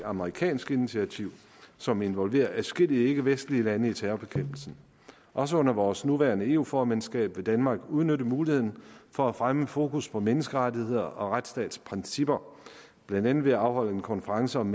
amerikansk initiativ som involverer adskillige ikkevestlige lande i terrorbekæmpelsen også under vores nuværende eu formandskab vil danmark udnytte muligheden for at fremme fokus på menneskerettigheder og retsstatsprincipper blandt andet ved at afholde en konference om